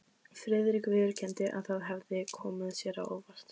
Friðrik viðurkenndi, að það hefði komið sér á óvart.